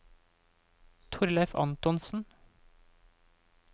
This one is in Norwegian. Thorleif Antonsen